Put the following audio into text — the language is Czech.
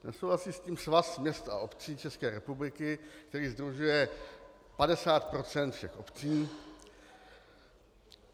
Nesouhlasí s tím Svaz měst a obcí České republiky, který sdružuje 50 % všech obcí.